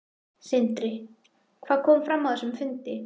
Sindri: Hvað kom fram á þessum fundi?